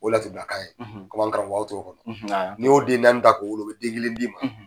O laturu dakan ye komi an karamƆgƆw t'o dƆn n'i y'o den naani ta k'o wwolo o bƐ kelen d'i ma